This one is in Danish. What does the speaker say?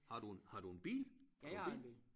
Har du en har du en bil har du bil?